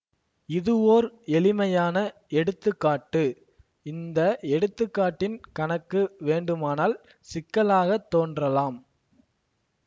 இதுவோர் எளிமையான எடுத்து காட்டு இந்த எடுத்துக்காட்டின் கணக்கு வேண்டுமானால் சிக்கலாக தோன்றலாம்